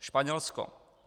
Španělsko.